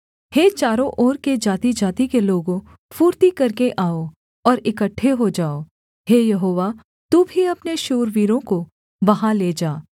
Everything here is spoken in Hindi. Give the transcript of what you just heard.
हे चारों ओर के जातिजाति के लोगों फुर्ती करके आओ और इकट्ठे हो जाओ हे यहोवा तू भी अपने शूरवीरों को वहाँ ले जा